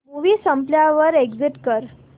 movie संपल्यावर exit कर